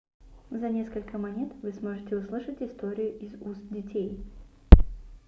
за несколько монет вы сможете услышать историю из уст детей